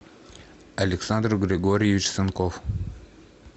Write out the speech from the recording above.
александр григорьевич санков